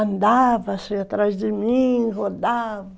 Andava, saia atrás de mim, rodava.